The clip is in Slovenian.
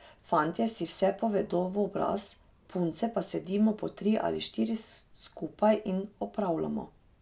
Fantje si vse povedo v obraz, punce pa sedimo po tri ali štiri skupaj in opravljamo.